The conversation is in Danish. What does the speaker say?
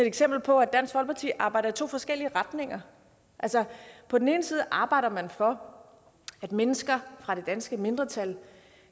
eksempel på at dansk folkeparti arbejder i to forskellige retninger på den ene side arbejder man for at mennesker fra det danske mindretal